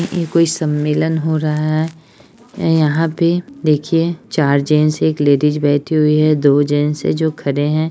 ये कोई सम्मेलन हो रहा है यहाँ पे देखिये चार जेंट्स और एक लेडीज़ बैठी हुई है दो जेंट्स है जो खड़े है।